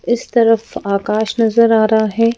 इस तरफ आकाश नजर आ रहा है।